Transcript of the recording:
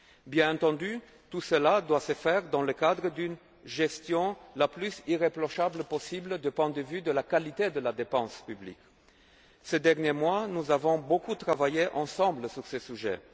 Bien entendu, tout cela doit se faire dans le cadre d'une gestion la plus irréprochable possible du point de vue de la qualité de la dépense publique. Ces derniers mois, nous avons beaucoup travaillé ensemble sur ces